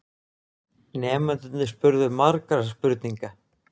Nemendurnir spurðu margra spurninga.